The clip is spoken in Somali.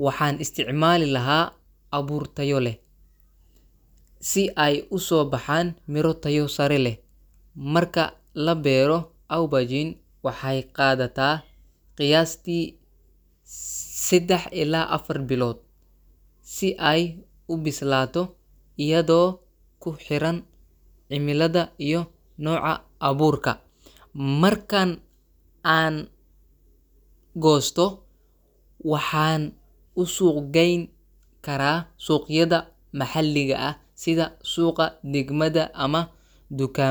Waxaan isticmaali lahaa abuur tayo leh, si ay u soo baxaan miro tayo sare leh. Marka la beero, aubergine waxay qaadataa qiyaastii 3 ilaa 4 bilood si ay u bislaato, iyadoo ku xiran cimilada iyo nooca abuurka. Markan aan goosto, waxaan u suuq gayn karaa suuqyada maxalliga ah, sida suuqa degmada ama dukaa.